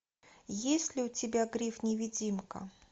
есть ли у тебя гриф невидимка